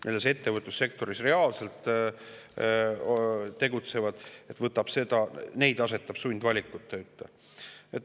Neid, kes ettevõtlussektoris reaalselt tegutsevad, asetab see sundvalikute ette.